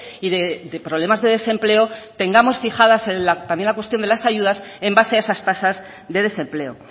y de problemas de desempleo tengamos fijadas también la cuestión de las ayudas en base a esas tasas de desempleo